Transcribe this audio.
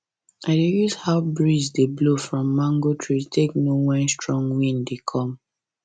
i dey use how breeze dey breeze dey blow from mango tree take know when strong wind dey come